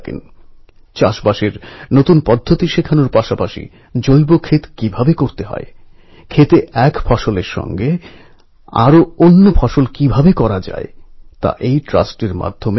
আমার প্রিয় দেশবাসী আমি গতবারেও বলেছি আজ লোকমান্য তিলকজীকে স্মরণ করতে গিয়ে আবারও বলছি এবারেও আপনারা গণেশ উৎসব ধুমধামের সঙ্গে পালন করুন কিন্তু পরিবেশবন্ধব উৎসব উদ্যাপন করুন